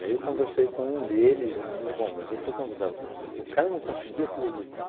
eu conversei com um deles e disse, bom, mas eu estou convidado para... O cara não conseguia acreditar.